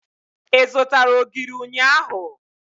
Ị zụtara ogiri ụnyaahụ?